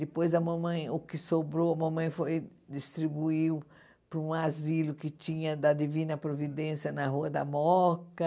Depois, o que sobrou, a mamãe foi distribuiu para um asilo que tinha da Divina Providência na Rua da Moca.